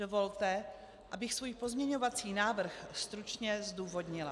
Dovolte, abych svůj pozměňovací návrh stručně zdůvodnila.